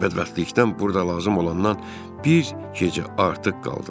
Bədbəxtlikdən burda lazım olandan bir gecə artıq qaldım.